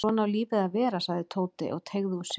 Svona á lífið að vera sagði Tóti og teygði úr sér.